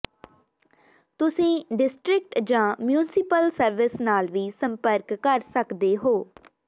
ਤੁਸੀਂ ਡਿਸਟ੍ਰਿਕਟ ਜਾਂ municipal service ਨਾਲ ਵੀ ਸੰਪਰਕ ਕਰ ਸਕਦੇ ਹੋ